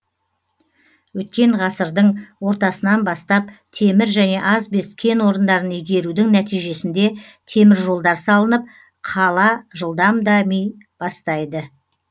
өткен ғасырдын ортасынан бастап темір және асбест кен орындарын игерудің нәтижесінде темір жолдар салынып қала жылдам дами бастайды